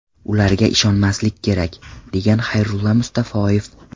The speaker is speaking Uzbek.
Ularga ishonmaslik kerak”, – degan Xayrulla Mustafoyev.